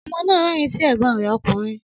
Ọmọ nà rẹrin sí ẹgbón rẹ òkúnrín.